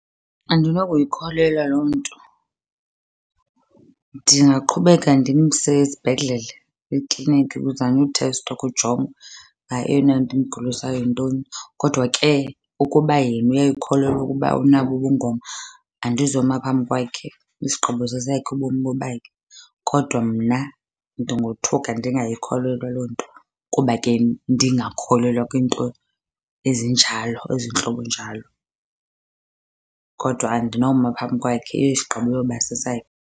Andinokuyikholelwa loo nto. Ndingaqhubeka ndimse esibhedlele, ekliniki kuzanywe uthestwa kujongwe eyona nto imgulisayo yintoni. Kodwa ke ukuba yena uyayikholelwa ukuba unabo ubungoma andizoma phambi kwakhe, isigqibo sesakhe, ubomi bobakhe. Kodwa mna ndingothuka ndingayikholelwa loo nto kuba ke ndingakholelwa kwiinto ezinjalo, ezintlobo njalo. Kodwa andinoma phambi kwakhe, isgqibo iyoba sesakhe.